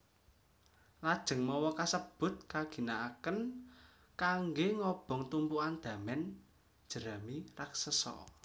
Lajeng mawa kasebut kaginakaken kanggé ngobong tumpukan damen jerami raksesa